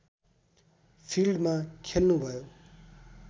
फिल्डमा खेल्नुभयो